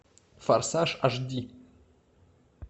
форсаж аш ди